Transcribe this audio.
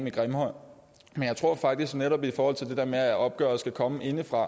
i grimhøj men jeg tror faktisk netop i forhold til det der med at opgøret skal komme indefra at